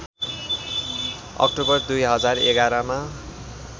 October २०११ मा